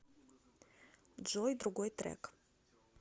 джой другой трек